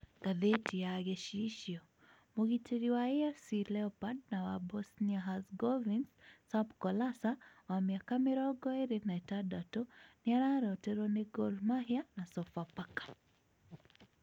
(Ngathĩti ya Gĩcicio)Mũgiteri wa AFC Leopards na wa Bosnia-Herzegovins Sam Kolasa, wa mĩaka mĩrongo ĩĩrĩ na ĩtandatũ, nĩ araroteruo ni Gor Mahia na Sofapaka.